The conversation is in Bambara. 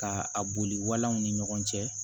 Ka a boli walanw ni ɲɔgɔn cɛ